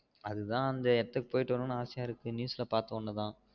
அதுதான் அந்த இடத்துக்கு போய்ட்டு வானும்னு ஆசைய இருக்கு news ல பாத்ததும்தான்